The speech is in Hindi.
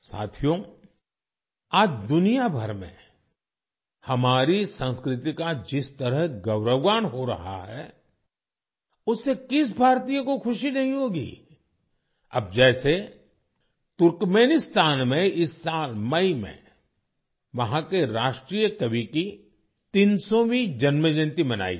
साथियो आज दुनियाभर में हमारी संस्कृति का जिस तरह गौरवगान हो रहा है उससे किस भारतीय को खुशी नहीं होगी अब जैसे तुर्कमेनिस्तान में इस साल मई में वहाँ के राष्ट्रीय कवि की 300वीं जन्म जयंती मनाई गई